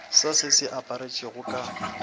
sa se se apešitšwego ka